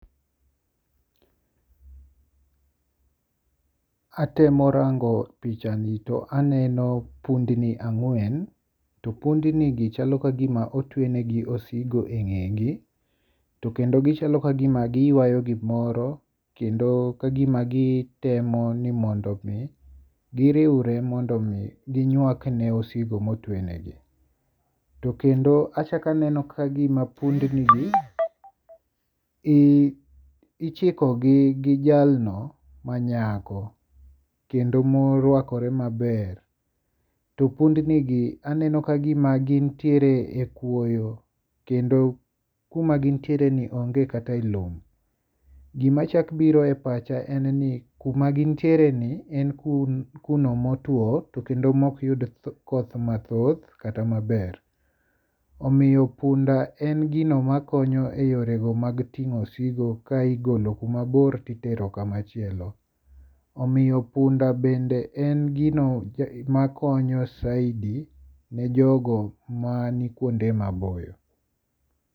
Atemo rango pichani to aneno pundni ang'wen. To pundni gi chalo kagima otwe negi osigo e ng'egi. Tokendo ginachalo kagima giywayo gimoro kendo kagima gitemo ni mondo mi giriwre mondo mi ginywak ne osigo motwe ne gi. To kendo achak aneno ka gima pundni gi ichiko gi gi jalno manyako kendo morwakore maber. To pundni gi aneno kagima gintiere e kwoyo. Kendo kuma gintiere ni onge kata e lum. Gima chak biro e pacha en ni kuma gintiere ni en kuno motuo to kendo mok yud koth mathoth kata maber. Omiyo punda en gino makonyo e yore go mag tingo osigo ka igolo kuma bor titero kamachielo. Omiyo punda bende en gino makonyo saidi ne jogo manikuonde maboyo.